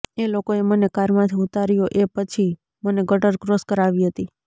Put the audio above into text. એ લોકોએ મને કારમાંથી ઉતાર્યો એ પછી મને ગટર ક્રોસ કરાવી હતી